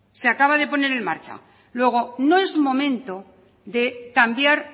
se acaba de poner en marcha luego no es momento de cambiar